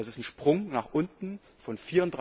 Das ist ein Sprung nach unten von